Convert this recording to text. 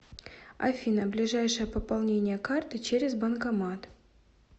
афина ближайшее пополнение карты через банкомат